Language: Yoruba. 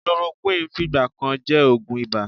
Chloroquine fìgbà kan jẹ́ oògùn ibà.